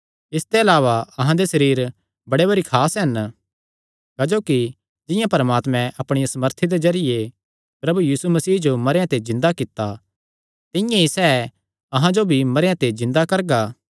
इसते अलावा अहां दे सरीर बड़े भरी खास हन क्जोकि जिंआं परमात्मैं अपणिया सामर्थी दे जरिये प्रभु यीशु मसीह जो मरेयां ते जिन्दा कित्ता तिंआं ई सैह़ अहां जो भी मरेयां ते जिन्दा करगा